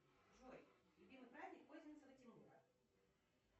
джой любимый праздник козинцева тимура